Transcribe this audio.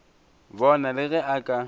bona le ge a ka